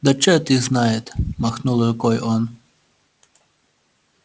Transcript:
да черт их знает махнул рукой он